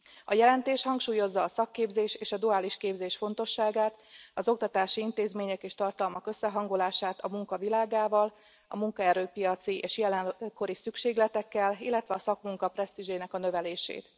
A jelentés hangsúlyozza a szakképzés és a duális képzés fontosságát, az oktatási intézmények és tartalmak összehangolását a munka világával, a munkaerőpiaci és jelenkori szükségletekkel, illetve a szakmunka presztízsének a növelését.